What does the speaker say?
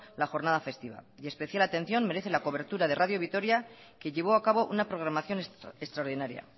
la jornada festiva y especial atención merece la cobertura de radio vitoria que llevó a cabo una programación extraordinaria